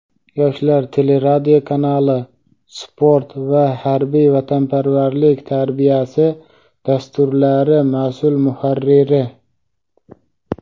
"Yoshlar" teleradiokanali "Sport" va "Harbiy vatanparvarlik tarbiyasi" dasturlari masʼul muharriri.